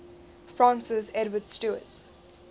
francis edward stuart